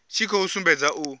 tshi khou sumbedza u